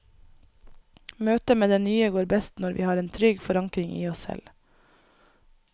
Møtet med det nye går best når vi har en trygg forankring i oss selv.